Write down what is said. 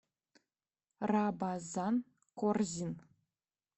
рабазан корзин